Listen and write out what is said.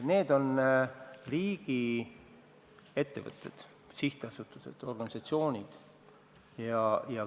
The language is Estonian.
Need on riigi ettevõtted, sihtasutused, organisatsioonid.